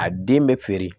A den bɛ feere